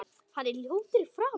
Hann er ljótur í framan.